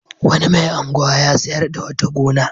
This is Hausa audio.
Wani mai unguwa ya sayar da wata gona.